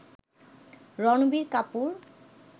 Ranbir Kapoor